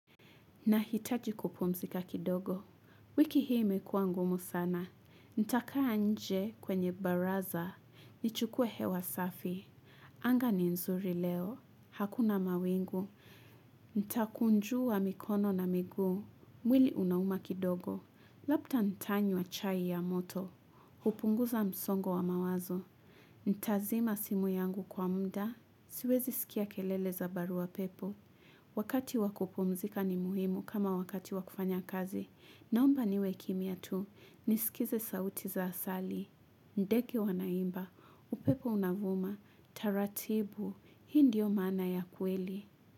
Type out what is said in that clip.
Nahitaji kupumzika kidogo. Wiki hii imekuwa ngumu sana. Nitakaa nje kwenye baraza. Nichukue hewa safi. Anga ni nzuri leo. Hakuna mawingu. Nitakunjua mikono na miguu. Mwili unauma kidogo. Labda ntanywa chai ya moto. Hupunguza msongo wa mawazo. Nitazima simu yangu kwa muda. Siwezi sikia kelele za barua pepo. Wakati wa kupumzika ni muhimu kama wakati wa kufanya kazi. Naomba niwe kimya tu nisikize sauti za asali. Ndege wanaimba, upepo unavuma, taratibu, hii ndiyo maana ya kweli.